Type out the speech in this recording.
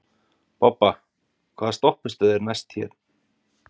Bobba, hvaða stoppistöð er næst mér?